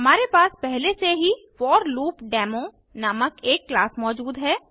हमारे पास पहले से ही फॉरलूपडेमो नामक एक क्लास मौजूद है